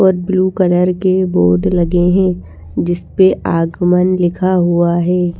और blue colour के board लगे हैं जिस पे आगमन लिखा हुआ है।